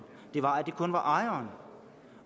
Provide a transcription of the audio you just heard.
var at det kun var ejeren